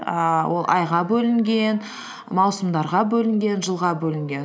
ііі ол айға бөлінген маусымдарға бөлінген жылға бөлінген